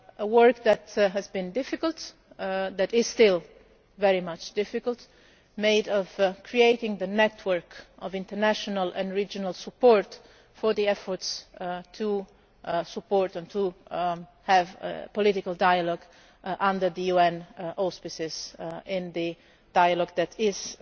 Work that has been difficult, that is still very difficult, made up of creating the network of international and regional support for the efforts to support and to have political dialogue, under the auspices of the UN, in the dialogue that is